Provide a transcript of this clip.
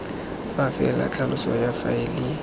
fa fela tlhaloso ya faele